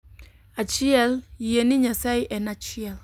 Achiel, Yie ni Nyasaye en achiel.